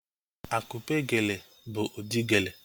Akupe geele bụ ụdị geele